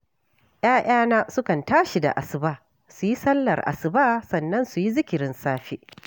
‘Ya’yana sukan tashi da asuba, su yi sallar asuba, sannan su yi zikirin safe